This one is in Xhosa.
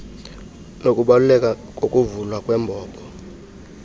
nokubaluleka kokuvulwa kwembobo